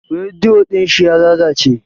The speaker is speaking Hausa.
Rediyo din shi ya lalace.